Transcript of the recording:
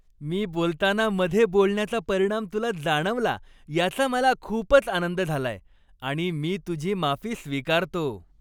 मी बोलताना मधे बोलण्याचा परिणाम तुला जाणवला याचा मला खूपच आनंद झालाय आणि मी तुझी माफी स्वीकारतो.